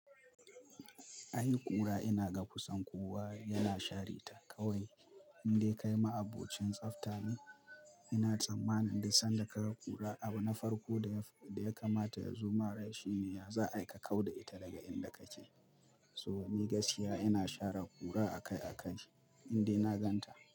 Ai ƙura ina ga kusan kowa yana share ta, kawai, in dai kai ma'abocin tsaftace. Ina tsammanin duk sanda ka ga ƙura abu na farko da ya kamata ya zo ma rai shine, ya za'a ai ka kau da ita daga inda kake. So ni gaskiya ina share ƙura akai-akai indai na ganta.